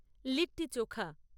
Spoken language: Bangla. লিট্টি চোখা